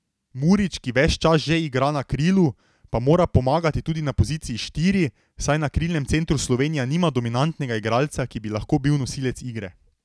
Murić, ki ves čas že igra na krilu, pa mora pomagati tudi na poziciji štiri, saj na krilnem centru Slovenija nima dominantnega igralca, ki bi lahko bil nosilec igre.